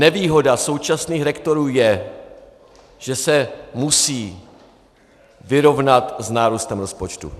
Nevýhoda současných rektorů je, že se musí vyrovnat s nárůstem rozpočtu.